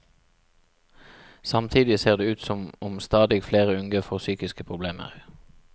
Samtidig ser det ut som om stadig flere unge får psykiske problemer.